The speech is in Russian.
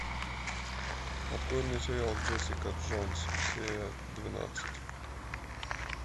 открой мне сериал джессика джонс серия двенадцать